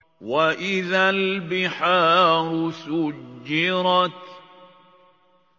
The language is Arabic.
وَإِذَا الْبِحَارُ سُجِّرَتْ